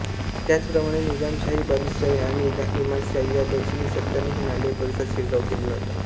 त्याचप्रमाणे निझामशाही बरीदशाही आणि इमादशाही या दक्षिणी सत्तांनीही नांदेड परिसरात शिरकाव केलेला होता